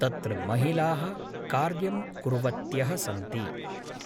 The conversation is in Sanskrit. तत्र महिलाः कार्यं कुर्वत्यः सन्ति